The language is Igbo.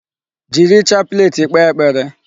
Jiri chaplet kpee ekpere.